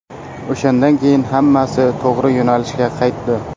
O‘shandan keyin hammasi to‘g‘ri yo‘nalishga qaytdi.